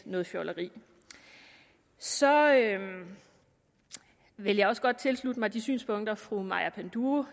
noget fjolleri så vil jeg også godt tilslutte mig de synspunkter fru maja panduro